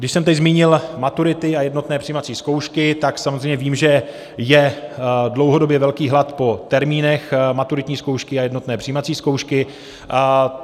Když jsem teď zmínil maturity a jednotné přijímací zkoušky, tak samozřejmě vím, že je dlouhodobě velký hlad po termínech maturitní zkoušky a jednotné přijímací zkoušky.